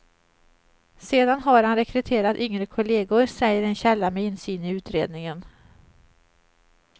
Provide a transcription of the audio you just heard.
Sedan har han rekryterat yngre kollegor, säger en källa med insyn i utredningen.